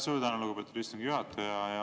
Suur tänu, lugupeetud istungi juhataja!